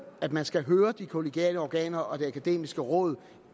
at man skal høre de kollegiale organer og det akademiske råd